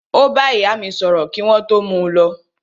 Ó bá ìyá mí sọ̀rọ̀ kí wọ́n tó mú u lọ.